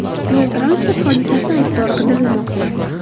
Yo‘l-transport hodisasi aybdori qidirilmoqda.